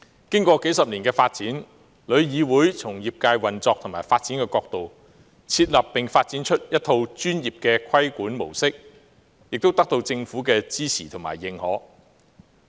經歷數十年發展，旅議會從業界運作和發展的角度，設立並發展出一套專業的規管模式，亦得到政府的支持和認可。